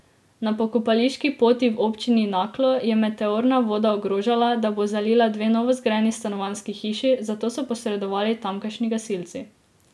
Na Pokopališki poti v Občini Naklo je meteorna voda ogrožala, da bo zalila dve novozgrajeni stanovanjski hiši, zato so posredovali tamkajšnji gasilci.